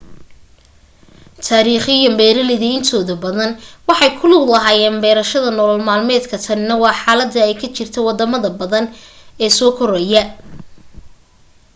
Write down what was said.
taariikhiyan beeraleyda intooda badan waxay ku lug lahaayeen beerashada nolol-maalmeedka tanina waa xaalada ay ka jirta wadamada badan ee soo korayaa